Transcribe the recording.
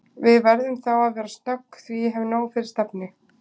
Við verðum þá að vera snögg því ég hef nóg fyrir stafni